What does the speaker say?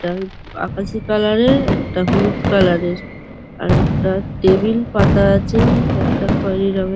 একটা আকাশি কালার -এর একটা হলুদ কালার -এর। আর একটা টেবিল পাতা আছে একটা খয়েরি রঙের--